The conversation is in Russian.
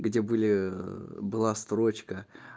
где были была строчка